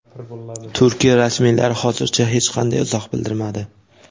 Turkiya rasmiylari hozircha hech qanday izoh bildirmadi.